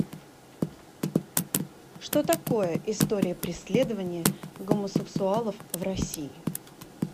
что такое история преследования гомосексуалов в россии